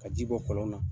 Ka ji bɔ kɔlɔn na